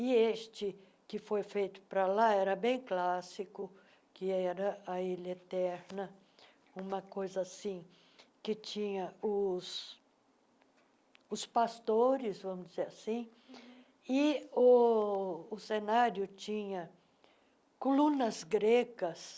E este que foi feito para lá era bem clássico, que era a Ilha Eterna, uma coisa assim, que tinha os os pastores, vamos dizer assim, e o o cenário tinha colunas gregas,